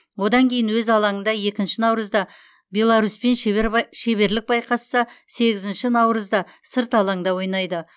одан кейін өз алаңында екінші наурызда беларусьпен шеберлік байқасса сегізінші наурызда сырт алаңда ойнайды